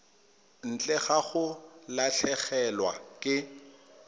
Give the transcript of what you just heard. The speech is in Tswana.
ntle ga go latlhegelwa ke